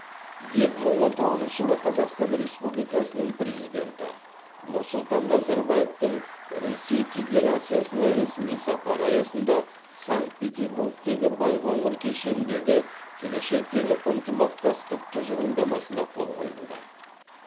екі мың он тоғызыншы жылы қазақстан республикасының президенті нұрсұлтан назарбаевтың ресей федерациясына ресми сапары аясында санкт петербургте байқоңыр кешеніндегі келешектегі ынтымақтастық тұжырымдамасына қол қойылды